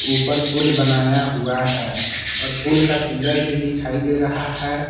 ऊपर पूल बनाया हुआ है और पूल का पिलर भी दिखाई दे रहा है।